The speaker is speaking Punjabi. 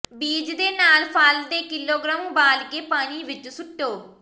ਬੀਜ ਦੇ ਨਾਲ ਫਲ ਦੇ ਕਿਲੋਗ੍ਰਾਮ ਉਬਾਲ ਕੇ ਪਾਣੀ ਵਿੱਚ ਸੁੱਟੋ